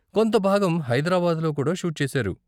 కొంత భాగం హైదరాబాద్లో కూడా షూట్ చేసారు.